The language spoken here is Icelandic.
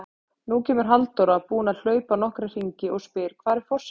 Nú kemur Halldóra, búin að hlaupa nokkra hringi, og spyr: Hvar er forsetinn?